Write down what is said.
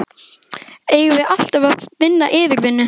Eigum við alltaf að vinna yfirvinnu?